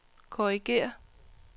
korrigér